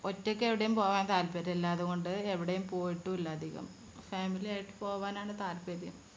ഒറ്റയ്ക്ക് എവിടെയും പോകാൻ താല്പര്യം ഇല്ലാത്തതുകൊണ്ട് എവിടെയും പോയിട്ടില്ല അധികം family യായി പോകാനാണ് താല്പര്യം